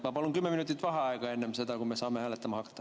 Ma palun kümme minutit vaheaega enne seda, kui me saame hääletama hakata.